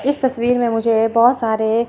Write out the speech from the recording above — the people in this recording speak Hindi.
इस तस्वीर में मुझे बहोत सारे--